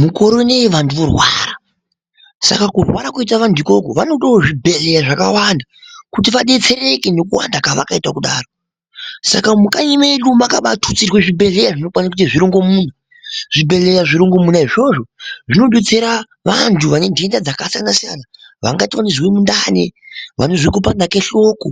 Mukore unei vandu vorwara saka kurwara koite vantu ukoko vanodewo zvibhehlera zvakawanda kuti vadetsereke nekuwanda kwavakaita kudaro. Saka mukanyi medu makabatutsirwa zvibhehleya zvinokwane zvirongomuna. Zvibhehleya zvirongomuna izvozvo zvinodetsera vantu vane ndenda dzakasiyana siyana vangati vanozwe mundani, vanozwe kupanda kweshoko,